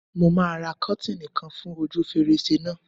Mo máa ra kọ́tìnì kan fún ojú fèrèsé náà.